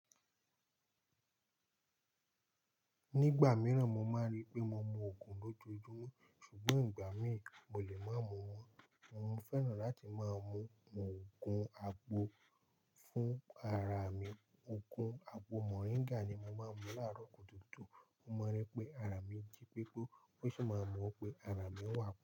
Nígbà mìíràn mo máa ń rí pé mo mu òogùn lójoojúmọ́ ṣùgbọ́n ìgbà mìí mo lè má mú wọ́n. Mo ń fẹ́ràn láti máa mu òogùn agbo fún ara mi. Òogùn agbo Moringa ni mo máa ń mu láàárọ̀ kutukutu. Mo maa ri wípé ara mi jí pépé ó sì máa mọ̀ pé ara mi wà.